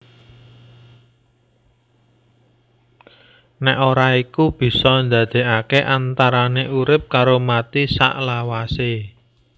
Nek ora iku bisa ndadékake antarane urip karo mati saklawasé